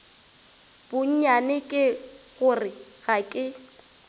bonnyane ke gore ga ke